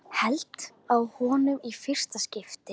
Heldur á honum í fyrsta skipti.